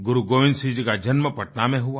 गुरुगोबिंद सिंह जी का जन्म पटना में हुआ